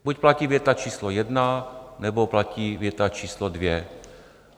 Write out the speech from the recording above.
Buď platí věta číslo jedna, nebo platí věta číslo dvě.